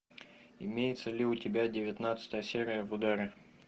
имеется ли у тебя девятнадцатая серия в ударе